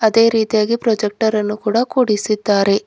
ಅದೇ ರೀತಿಯಾಗಿ ಪ್ರಾಜೆಕ್ಟ್ಟರ್ ಅನ್ನು ಕೂಡ ಕೂಡಿಸಿದ್ದಾರೆ.